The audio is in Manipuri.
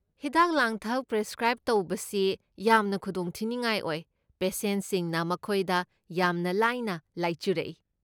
ꯍꯤꯗꯥꯛ ꯂꯥꯡꯊꯛ ꯄ꯭ꯔꯤꯁꯀ꯭ꯔꯥꯏꯕ ꯇꯧꯕꯁꯤ ꯌꯥꯝꯅ ꯈꯨꯗꯣꯡ ꯊꯤꯅꯤꯉꯥꯏ ꯑꯣꯏ, ꯄꯦꯁꯦꯟꯁꯤꯡꯅ ꯃꯈꯣꯏꯗ ꯌꯥꯝꯅ ꯂꯥꯏꯅ ꯂꯥꯏꯆꯨꯔꯛꯏ꯫